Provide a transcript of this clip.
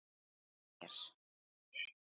Er eitthvað að þér?